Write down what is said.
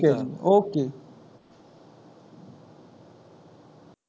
okay